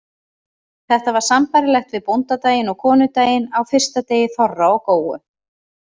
Þetta var sambærilegt við bóndadaginn og konudaginn á fyrsta degi þorra og góu.